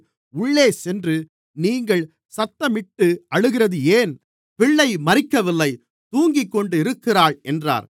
உள்ளே சென்று நீங்கள் சத்தமிட்டு அழுகிறது ஏன் பிள்ளை மரிக்கவில்லை தூங்கிக்கொண்டிருக்கிறாள் என்றார்